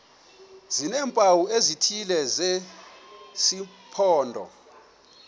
sineempawu ezithile zesimpondo